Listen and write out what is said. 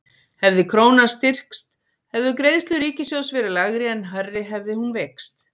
hefði krónan styrkst hefðu greiðslur ríkissjóðs verið lægri en hærri hefði hún veikst